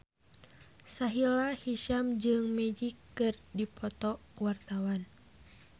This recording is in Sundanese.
Sahila Hisyam jeung Magic keur dipoto ku wartawan